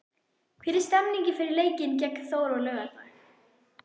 Hvernig er stemningin fyrir leikinn gegn Þór á laugardag?